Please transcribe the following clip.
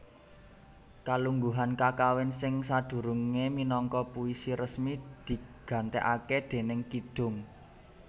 Kalungguhan kakawin sing sadurungé minangka puisi resmi digantèkaké déning kidung